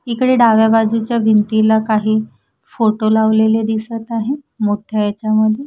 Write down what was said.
इकडे डाव्या बाजूच्या भिंतीला काही फोटो लावलेले दिसत आहे मोठ्या याच्यामध्ये.